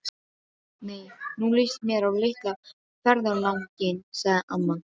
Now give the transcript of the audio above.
Nei, nú líst mér á litla ferðalang- inn sagði amma.